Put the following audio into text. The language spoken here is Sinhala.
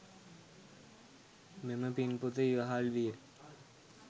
මෙම පින් පොත ඉවහල් විය.